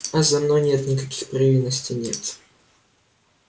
а за мной пока никаких провинностей нет